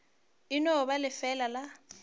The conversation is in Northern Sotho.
e no ba lefeela la